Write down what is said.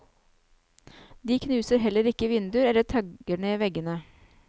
De knuser heller ikke vinduer eller tagger ned veggene.